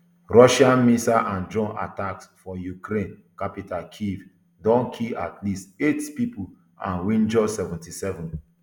russian missile and drone attacks for ukraine capital kyiv don kill at least eight pipo and wunjure seventy-seven